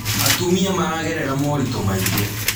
Atumia maragerera moritũ maingĩ